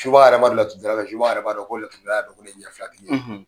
Subaga yɛrɛ b'a bila sutara la, subaga yɛrɛ b'a dɔn ko laturudala a dɔn ko ne ye ɲɛ fila tigi ye.